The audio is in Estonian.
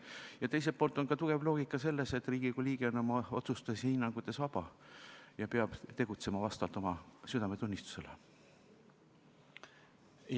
Ja teiselt poolt on tugev loogika selles, et Riigikogu liige on oma otsustes ja hinnangutes vaba ning peab tegutsema oma südametunnistuse järgi.